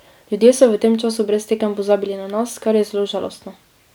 Ljudje so v tem času brez tekem pozabili na nas, kar je zelo žalostno.